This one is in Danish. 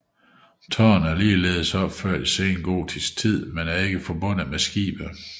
Tårnet er ligeledes opført i sengotisk tid men er ikke forbundet med skibet